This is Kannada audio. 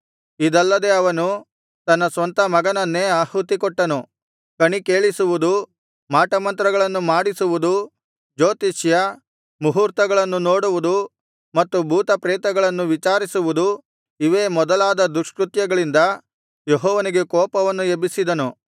ಇದಲ್ಲದೆ ಅವನು ತನ್ನ ಸ್ವಂತ ಮಗನನ್ನೇ ಆಹುತಿಕೊಟ್ಟನು ಕಣಿಕೇಳಿಸುವುದು ಮಾಟಮಂತ್ರಗಳನ್ನು ಮಾಡಿಸುವುದು ಜೋತಿಷ್ಯ ಮುಹೂರ್ತಗಳನ್ನು ನೋಡುವುದು ಮತ್ತು ಭೂತಪ್ರೇತಗಳನ್ನೂ ವಿಚಾರಿಸುವುದು ಇವೇ ಮೊದಲಾದ ದುಷ್ಕೃತ್ಯಗಳಿಂದ ಯೆಹೋವನಿಗೆ ಕೋಪವನ್ನು ಎಬ್ಬಿಸಿದನು